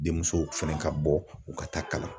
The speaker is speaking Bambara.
Denmusow fɛnɛ ka bɔ u ka taa kalan